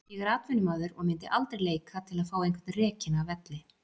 Ég er atvinnumaður og myndi aldrei leika til að fá einhvern rekinn af velli.